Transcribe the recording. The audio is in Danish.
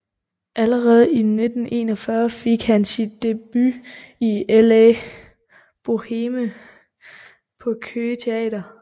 Allerede i 1941 fik han sin debut i La Boheme på Køge Teater